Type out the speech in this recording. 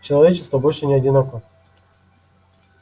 человечество больше не одиноко